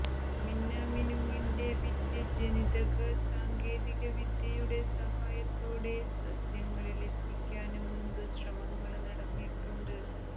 മിന്നാമിനുങ്ങിന്റെ വിദ്യ ജനിതക സാങ്കേതികവിദ്യയുടെ സഹായത്തോടെ സസ്യങ്ങളിലെത്തിക്കാന് മുമ്പ് ശ്രമങ്ങള് നടന്നിട്ടുണ്ട്